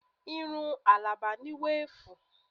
Irun Alaba ni weefu